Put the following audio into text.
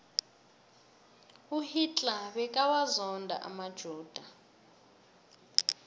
uhittler bekawazona amajuda